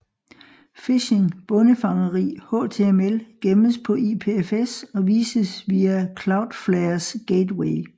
Phishing bondefangeri HTML gemmes på IPFS og vises via Cloudflares gateway